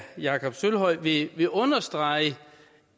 jakob sølvhøj vil vil understrege